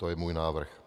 To je můj návrh.